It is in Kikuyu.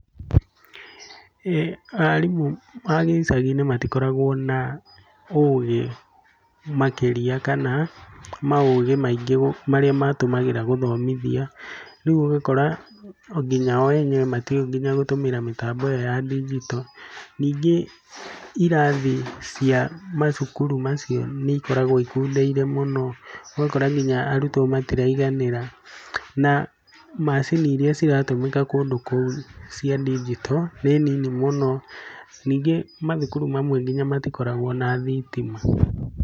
Arimũ a gĩcagai-inĩ matikoragwo na ũgĩ makĩria kana maũgĩ maingĩ marĩa matũmagĩra gũthomithia. Rĩu ũgakora nginya o enyewe matiũĩ nginya gũtũmĩra mĩtambo ĩyo ya ndinjito. Ningĩ irathi cia macukuru macio nĩ ikoragwo ikundeire mũno, ũgakora nginya arutwo matiraiganĩra. Na macini irira ciratũmĩka kũndũ kũu cia ndinjito nĩ nini mũno. Ningĩ mathukuru mamwe nginya matikoragwo na thitima.